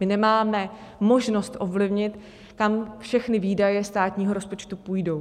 My nemáme možnost ovlivnit, kam všechny výdaje státního rozpočtu půjdou.